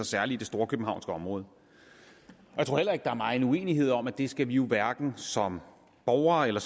særlig det storkøbenhavnske område jeg tror heller ikke der er megen uenighed om at det skal vi hverken som borgere eller